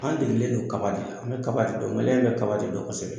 An delilen don kaba de la an bɛ kaba de dɔn maliyɛn bɛ kaba de dɔn kosɛbɛ